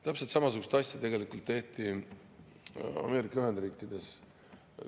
Täpselt samasugust asja tehti tegelikult Ameerika Ühendriikides.